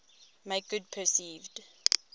make good perceived